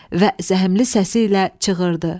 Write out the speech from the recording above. Və zəhmli səsi ilə çığırdı.